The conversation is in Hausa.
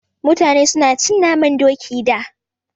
Mutane su na cin naman Doki da